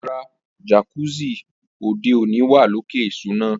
Rara, jacuzzi ode oni wa loke isuna.